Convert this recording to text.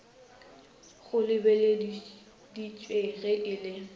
go lebelediša ge e le